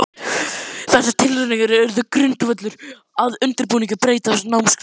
Þessar tilraunir urðu grundvöllur að undirbúningi breytinga á námskrá.